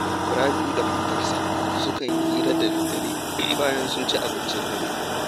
Rabi’u da matarsa sukan yi hira da daddare, bayan sun ci abincin dare